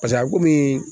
Pase a komi